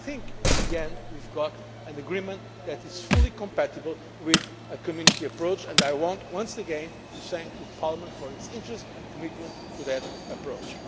I think at the end we have an agreement that is fully compatible with a Community approach and I want once again to thank Parliament for its interest and commitment to that approach.